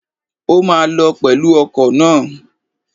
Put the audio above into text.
O máa lọ pẹ̀lú ọkọ̀ náà.